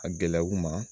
A gɛlɛya u ma